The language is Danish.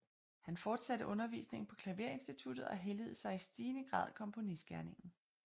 Han fortsatte undervisningen på klaverinstituttet og helligede sig i stigende grad komponistgerningen